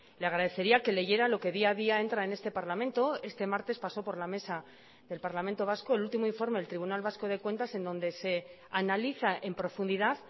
le agradecería que leyera lo que día a día entra en este parlamento este martes pasó por la mesa del parlamento vasco el último informe del tribunal vasco de cuentas en donde se analiza en profundidad